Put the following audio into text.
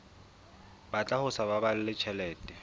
batla ho sa baballe tjhelete